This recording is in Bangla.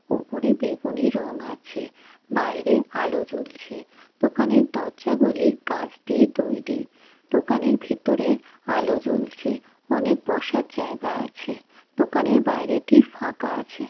ওপরে বেগুনি রং আছে বাইরে আলো জ্বলছে দোকানের দরজা গুলি কাচ দিয়ে তৈরি দোকানের ভেতরে আলো জ্বলছে অনেক বসার জায়গা আছে দোকানের বাইরে টি ফাঁকা আছে ।